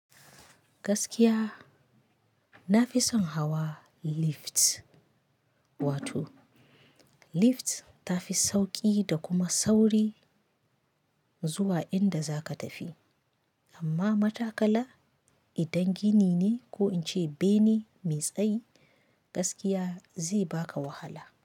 Gaskiya nafi son hawa lift, wato lift tafi sauƙi da kuma sauri zuwa inda za ka tafi. Amma matakala idan gini ne ko in ce bene mai tsayi, gaskiya zai baka wahala.